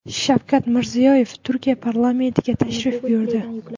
Shavkat Mirziyoyev Turkiya parlamentiga tashrif buyurdi.